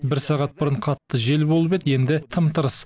сағат бұрын қатты жел болып еді енді тым тырыс